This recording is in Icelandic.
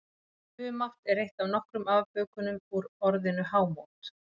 Humátt er eitt af nokkrum afbökunum úr orðinu hámót.